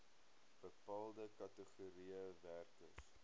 bepaalde kategorieë werkers